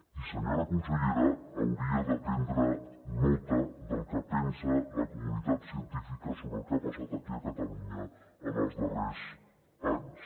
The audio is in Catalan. i senyora consellera hauria de prendre nota del que pensa la comunitat científica sobre el que ha passat aquí a catalunya en els darrers anys